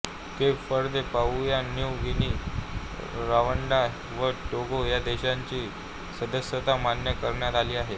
Cape Verde Papua New Guinea Rwanda व Togo ह्या देशांची सदस्यता मान्य करण्यात आली आहे